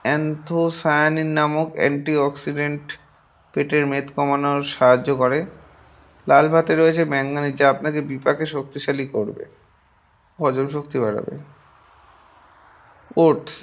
anthocyanin নামক antioxidant পেটের মেদ কমানোর সাহায্য করে। লাল ভাতে রয়েছে manganese যা আপনাকে বিপাকে শক্তিশালী করবে । হজম শক্তি বাড়াবে।